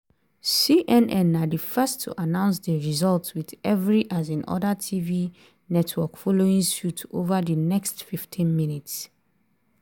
cnn na di first to announce di result with every um oda tv network following suit over di next 15 minutes.